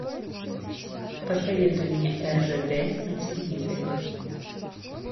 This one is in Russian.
посоветуй мне ржд на телевизоре